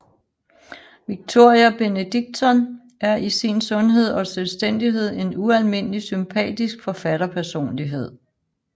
Victoria Benedictsson er i sin sundhed og selvstændighed en ualmindelig sympatisk forfatterpersonlighed